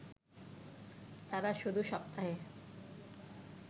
তারা শুধু সপ্তাহে